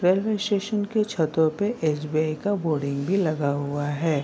Railway station के छतो पे एस.बी.आई. का बोर्डिंग भी लगा हुआ है।